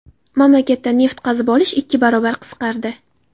Mamlakatda neft qazib olish ikki barobar qisqardi.